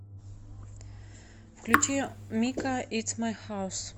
включи мика итс май хаус